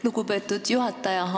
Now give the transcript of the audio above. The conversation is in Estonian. Lugupeetud juhataja!